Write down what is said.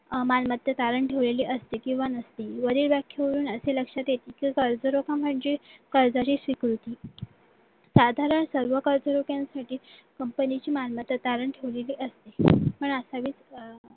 मालमत्ता तारण ठेवलेली असते किंवा नसते वरील वाक्य होऊन असे लक्षात येते की कर्जरोखा म्हणजे कर्जाची स्वीकृती साधारण सर्व कर्ज लोकांसाठी company ची मालमत्ता तारण ठेवलेली असते पण असेलच असं नाही